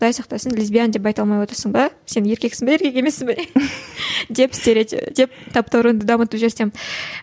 құдай сақтасын лесбиян деп айта алмай отырсың ба сен еркексің бе еркек емессің бе деп деп таптауырынды дамытып жиберсем